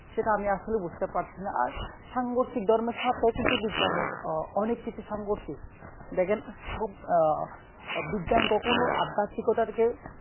সেটা আমি আসলে বুজতে পারছি না আর সাঙ্গরসিক ধর্মের সাথে কিন্তু বিজ্ঞানের অনেক কিছু সাঙ্গরসিক দেখেন আহ বিজ্ঞান কখনো আদাতিকতাকে